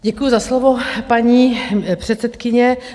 Děkuji za slovo, paní předsedkyně.